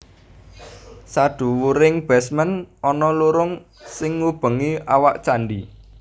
Sadhuwuring basement ana lurung sing ngubengi awak candhi